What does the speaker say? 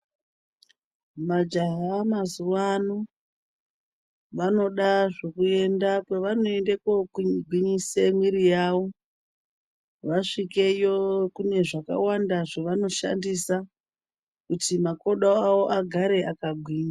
Majaya mazuwa ano vanoda zvekuenda kwevanoende kogwinyise mwiri yawo. Vasvikeyo kune zvakawanda zvavanoshandisa kuti makodo awo agare akagwinya.